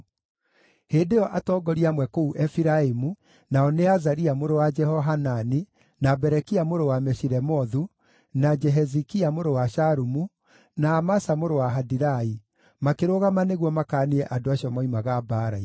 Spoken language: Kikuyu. Hĩndĩ ĩyo atongoria amwe kũu Efiraimu, nao nĩ Azaria mũrũ wa Jehohanani, na Berekia mũrũ wa Meshilemothu, na Jehizikia mũrũ wa Shalumu, na Amasa mũrũ wa Hadilai, makĩrũgama nĩguo makaanie andũ acio moimaga mbaara-inĩ.